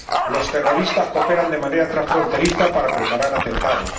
Los terroristas cooperan de manera transfronteriza para preparar atentados.